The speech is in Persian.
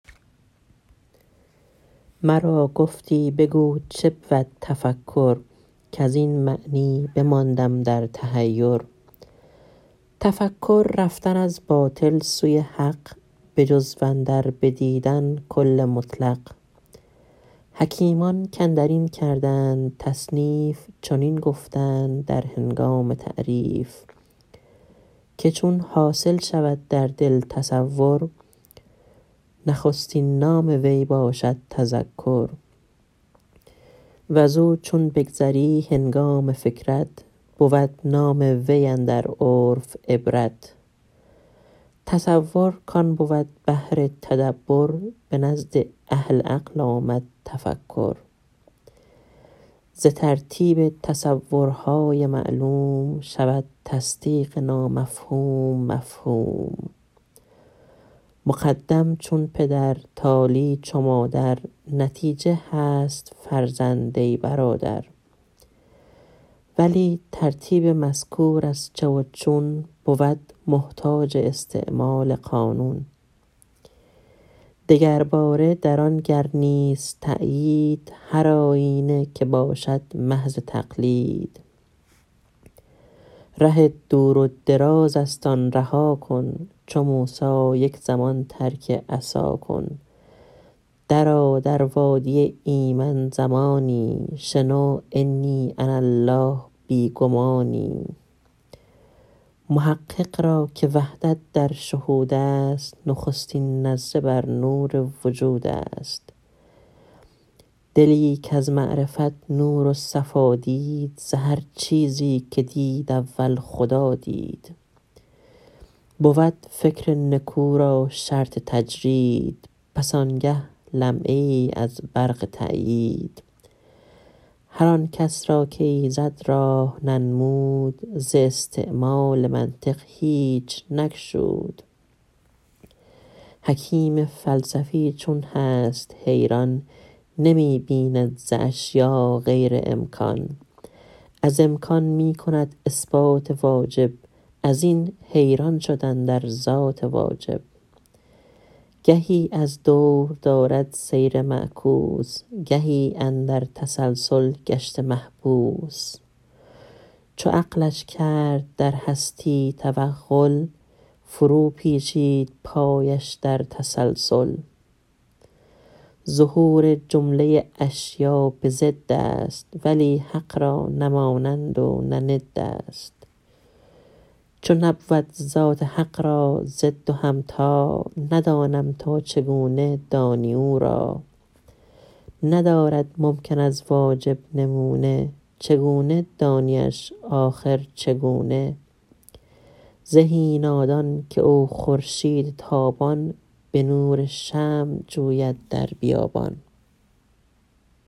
مرا گفتی بگو چبود تفکر کز این معنی بماندم در تحیر تفکر رفتن از باطل سوی حق به جزو اندر بدیدن کل مطلق حکیمان کاندر این کردند تصنیف چنین گفتند در هنگام تعریف که چون حاصل شود در دل تصور نخستین نام وی باشد تذکر وز او چون بگذری هنگام فکرت بود نام وی اندر عرف عبرت تصور کان بود بهر تدبر به نزد اهل عقل آمد تفکر ز ترتیب تصورهای معلوم شود تصدیق نامفهوم مفهوم مقدم چون پدر تالی چو مادر نتیجه هست فرزند ای برادر ولی ترتیب مذکور از چه و چون بود محتاج استعمال قانون دگرباره در آن گر نیست تایید هر آیینه که باشد محض تقلید ره دور و دراز است آن رها کن چو موسیٰ یک زمان ترک عصا کن درآ در وادی ایمن زمانی شنو انی انا الله بی گمانی محقق را که وحدت در شهود است نخستین نظره بر نور وجود است دلی کز معرفت نور و صفا دید ز هر چیزی که دید اول خدا دید بود فکر نکو را شرط تجرید پس آنگه لمعه ای از برق تایید هر آنکس را که ایزد راه ننمود ز استعمال منطق هیچ نگشود حکیم فلسفی چون هست حیران نمی بیند ز اشیا غیر امکان از امکان می کند اثبات واجب از این حیران شد اندر ذات واجب گهی از دور دارد سیر معکوس گهی اندر تسلسل گشته محبوس چو عقلش کرد در هستی توغل فرو پیچید پایش در تسلسل ظهور جمله اشیاء به ضد است ولی حق را نه مانند و نه ند است چو نبود ذات حق را ضد و همتا ندانم تا چگونه دانی او را ندارد ممکن از واجب نمونه چگونه دانیش آخر چگونه زهی نادان که او خورشید تابان به نور شمع جوید در بیابان